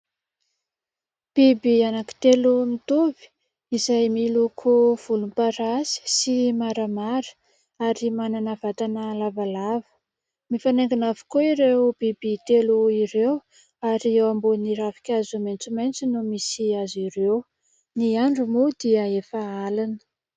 Biby anankitelo mitovy izay miloko volom-parasy sy maramara ary manana vatana lavalava, mifanaingina avokoa ireo biby telo ireo ary eo ambonin'ny ravin-kazo maitsomaitso no misy azy ireo; ny andro moa dia efa alina.